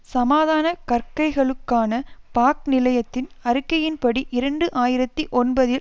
சமாதான கற்கைகளுக்கான பாக் நிலையத்தின் அறிக்கையின்படி இரண்டு ஆயிரத்தி ஒன்பதில்